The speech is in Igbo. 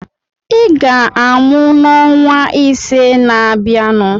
Ị ga-amụ n'ọnwa ise na-abịanụ.